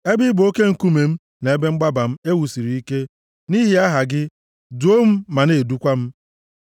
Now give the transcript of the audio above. Ebe ị bụ oke nkume m na ebe mgbaba m e wusiri ike, nʼihi aha gị, duo m ma na-edukwa m.